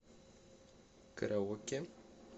караоке